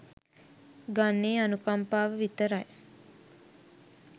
ගන්නේ අනුකම්පාව විතරයි.